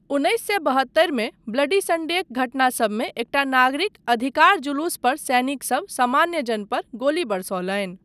उन्नैस सए बहत्तरिमे ब्लडी संडेक घटना सबमे एकटा नागरिक अधिकार जुलूस पर सैनिक सब सामान्य जन पर गोली बरसौलनि।